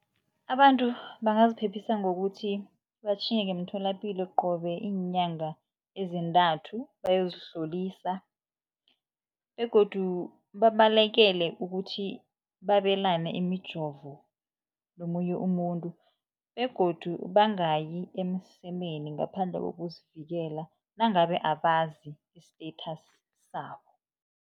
Abantu bangaziphephisa ngokuthi batjhinge ngemtholapilo qobe iinyanga ezintathu bayozihlolisa begodu babalekele ukuthi babelane imijovo nomunye umuntu begodu bangayi emsemeni ngaphandle kokuzivikela nangabe abazi i-status sabo.